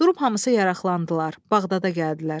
Durub hamısı yaraqlandılar, Bağdada gəldilər.